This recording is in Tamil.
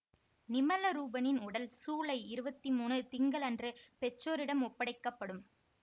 நிமலரூபனின் உடல் சூலை இருபத்தி மூன்று திங்களன்று பெற்றோரிடம் ஒப்படைக்க படும்